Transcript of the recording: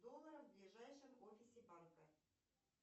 долларов в ближайшем офисе банка